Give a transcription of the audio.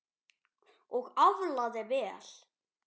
Og aflaði vel.